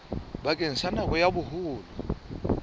bakeng sa nako ya boholo